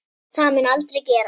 Það mun aldrei gerast.